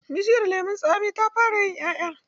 Bishiyar lemon tsamin ta fara yin 'ƴa'ƴa.